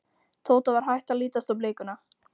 Tóta var hætt að lítast á blikuna.